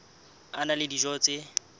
a na le dijo tse